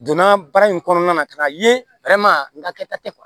Donna baara in kɔnɔna na ka na ye n ka kɛta tɛ kuwa